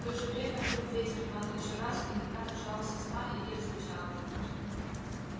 в то же время вдруг ветер рванул ещё раз и тогда нажала сосна и ель зарычала